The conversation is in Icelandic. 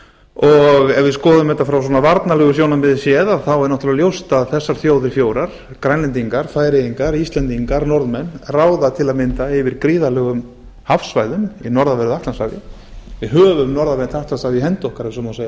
og ef við skoðum þetta frá svona varnarlegu sjónarmiði séð er náttúrlega ljóst að þessar þjóðir fjórar grænlendingar færeyingar íslendingar norðmenn ráða til að mynda yfir gríðarlegum hafsvæðum í norðanverðu atlantshafi við höfum norðanvert atlantshaf i hendi okkar ef svo má segja